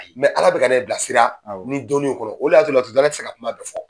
ala bɛ ka ne bilasira ni dƆnnin in kɔrɔ o de y'a to laturudala tƐ se ka kuma